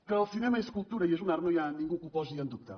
que el cinema és cultura i és un art no hi ha ningú que ho posi en dubte